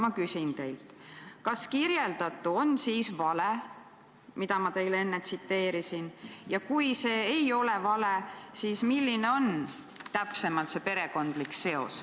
Ma küsin teilt, kas kirjeldatu, see, mida ma teile enne tsiteerisin, oli siis vale, ja kui see ei ole vale, siis milline on täpsemalt see perekondlik seos.